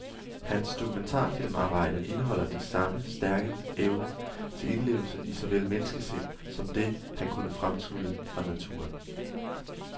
Hans dokumentarfilmarbejder indeholder den samme stærke evne til indlevelse i såvel menneskesind som det, han kunne fremtrylle fra naturen.